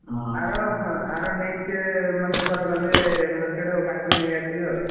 ଆର ଅହଁ ଆର next ମାନେ ଧର ଗଲେ market କାକୁଡି ନେଇ ଆସିବି ଆଉ।